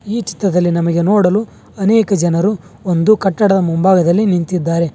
ಈ ಚಿತ್ರದಲ್ಲಿ ನಮಗೆ ನೋಡಲು ಅನೇಕ ಜನರು ಒಂದು ಕಟ್ಟಡದ ಮುಂಭಾಗದಲಿ ನಿಂತಿದ್ದಾರೆ.